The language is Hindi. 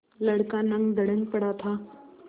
लड़का नंगधड़ंग पड़ा था